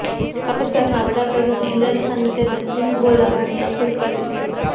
પાકિસ્તાનના વડાપ્રધાન ઇમરાન ખાનને તેમણે સિંધ બોલાવાની અપીલ કરી છે